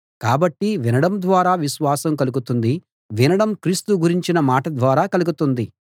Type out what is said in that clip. కాబట్టి వినడం ద్వారా విశ్వాసం కలుగుతుంది వినడం క్రీస్తు గురించిన మాట ద్వారా కలుగుతుంది